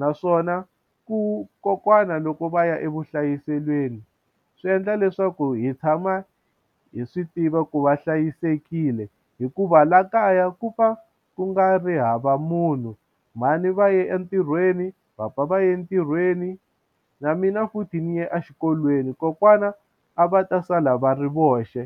naswona ku kokwana loko va ya evuhlayiselweni swi endla leswaku hi tshama hi swi tiva ku va hlayisekile hikuva laha kaya ku va ku nga ri hava munhu mhani va ye entirhweni papa va ya entirhweni na mina futhi ni ye exikolweni kokwana a va ta sala va ri voxe.